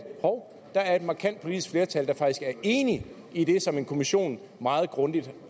hov der er et markant politisk flertal der faktisk er enig i det som en kommission meget grundigt